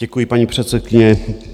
Děkuji, paní předsedkyně.